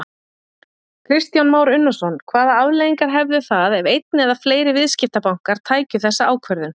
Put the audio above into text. Kristján Már Unnarsson: Hvaða afleiðingar hefðu það ef einn eða fleiri viðskiptabankar tækju þessa ákvörðun?